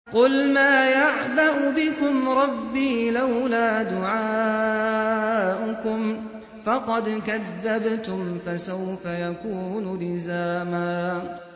قُلْ مَا يَعْبَأُ بِكُمْ رَبِّي لَوْلَا دُعَاؤُكُمْ ۖ فَقَدْ كَذَّبْتُمْ فَسَوْفَ يَكُونُ لِزَامًا